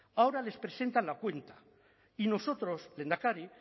ahora les presentan la cuenta y nosotros lehendakari